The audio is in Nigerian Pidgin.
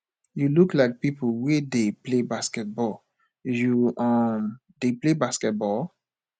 you look like people wey dey play basketball you um dey play basketball